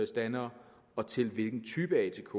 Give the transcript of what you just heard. standere og til hvilken type af atk